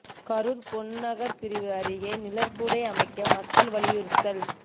கரூர் பொன்நகர் பிரிவு அருகே நிழற்குடை அமைக்க மக்கள் வலியுறுத்தல்